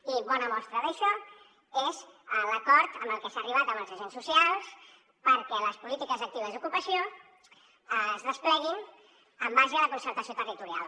i bona mostra d’això és l’acord al que s’ha arribat amb els agents socials perquè les polítiques actives d’ocupació es despleguin en base a la concertació territorial